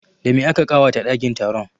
Da me aka ƙawata ɗakin taron?